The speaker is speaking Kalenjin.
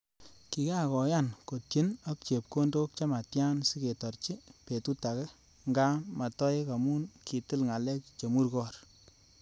Kikakoyan kotyen ak chepkondok chemtya siketorchi betutake nga matoek amu kitil ngalek chemurgor